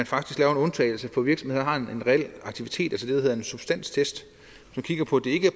faktisk laver en undtagelse for virksomheder der har en reel aktivitet der hedder en substanstest